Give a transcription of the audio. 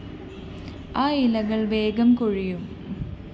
ആ ഇലകള്‍ വേഗം കൊഴിയും